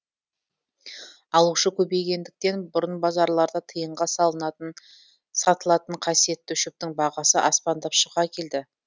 алушы көбейгендіктен бұрын базарларда тиынға сатылатын қасиетті шөптің бағасы аспандап шыға келді